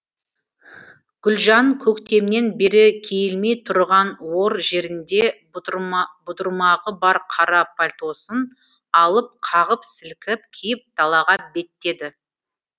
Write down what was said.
гүлжан көктемнен бері киілмей тұрған ор жерінде бұдырмағы бар қара пальтосын алып қағып сілкіп киіп далаға беттеді